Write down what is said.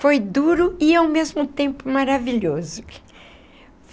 Foi duro e ao mesmo tempo maravilhoso.